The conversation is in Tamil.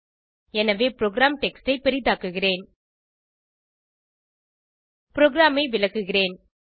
எனவே புரோகிராம் டெக்ஸ்ட் ஐ பெரிதாக்குகிறேன் ப்ரோகிராமை விளக்குகிறேன்